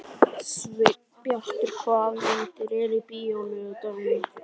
Sveinbjartur, hvaða myndir eru í bíó á laugardaginn?